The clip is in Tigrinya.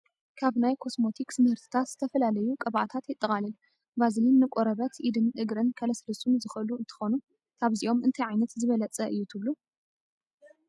ካብ ናይ ኮስሞቲክስ ምህርትታት ዝተፈላለዩ ቅብኣታታት የጠቓልል፡፡ ቫዝሊን ንቆርበት ኢድን እግርን ከልስልሱን ዝኽአሉ እንትኾኑ ካብዚኦም እንታይ ዓይነት ዝበለፀ እዩ ትብሉ?